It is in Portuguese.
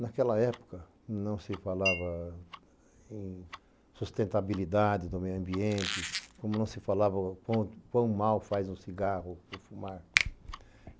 Naquela época, não se falava em sustentabilidade do meio ambiente, como não se falava o quão mal faz um cigarro, o fumar.